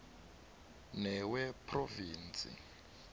newephrovinsi